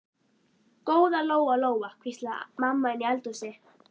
Góða Lóa Lóa, hvíslaði mamma inni í eldhúsi.